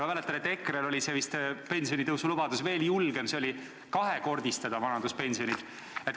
Ma mäletan, et EKRE-l oli vist pensionitõusulubadus veel julgem, see oli kahekordistada vanaduspensionid.